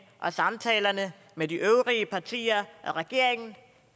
og samtalerne med de øvrige partier og regeringen